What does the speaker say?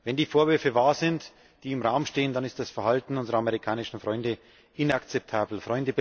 Wenn die Vorwürfe wahr sind, die im Raum stehen, dann ist das Verhalten unserer amerikanischen Freunde inakzeptabel.